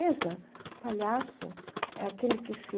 Pensa, o palhaço é aquele que se